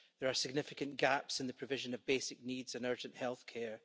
There are significant gaps in the provision of basic needs and urgent health care.